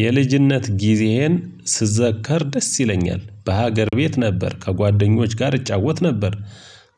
የልጅነት ጊዜህን ስዘከር ደስ ይለኛል በሀገር ቤት ነበር ከጓደኞች ጋር እጫወት ነበር።